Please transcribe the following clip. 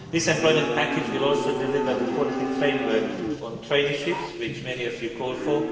This employment package will also deliver the quality framework on traineeships which many of you called